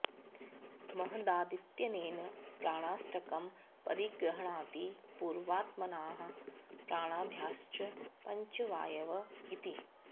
महदादीत्यनेन प्राणाष्टकं परिगृह्णाति पूर्वात्मानः प्राणाद्याश्च पञ्च वायव इति